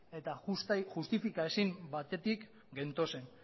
eta justifika ezin batetik gentozen